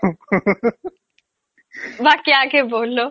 বাকি aage bolo